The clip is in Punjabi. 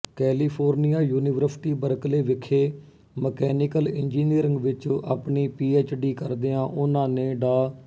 ਕੈਲੀਫੋਰਨੀਆ ਯੂਨੀਵਰਸਿਟੀ ਬਰਕਲੇ ਵਿਖੇ ਮਕੈਨੀਕਲ ਇੰਜੀਨੀਅਰਿੰਗ ਵਿੱਚ ਆਪਣੀ ਪੀਐਚਡੀ ਕਰਦਿਆਂ ਉਨ੍ਹਾਂ ਨੇ ਡਾ